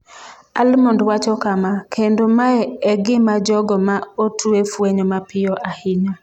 Almond wacho kama: “Kendo mae e gima jogo ma otwe fwenyo mapiyo ahinya.”